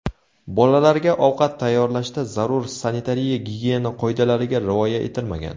Bolalarga ovqat tayyorlashda zarur sanitariya-gigiyena qoidalariga rioya etilmagan.